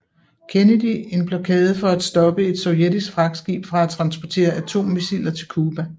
Kennedy en blokade for at stoppe et sovjetisk fragtskib fra at transportere atommissiler til Cuba